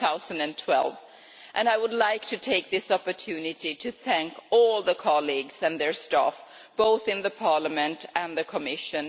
2012. I would like to take this opportunity to thank all colleagues and their staff, both in Parliament and the Commission.